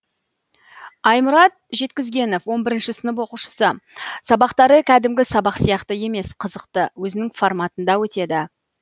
аймұрат жеткізгенов он бірінші сынып оқушысы сабақтары кәдімгі сабақ сияқты емес қызықты өзінің форматында өтеді